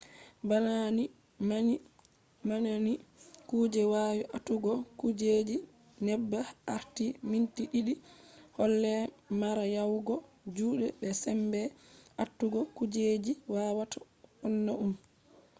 bana ni man ni kuje wawi atugo kujeji neɓa har minti ɗiɗi dole mara yawugo juɗe be sembe atugo kujeji wawata wonna ɗum